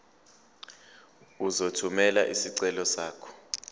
uzothumela isicelo sakho